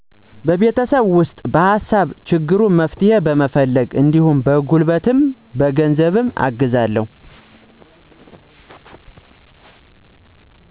በቤተሰቤ ውስጥ በሀሳብ ሲቸገሩ መፍትሄ በመፈለግ እንዲሁም በጉልበትም በ ገንዘብም አግዛለሁ።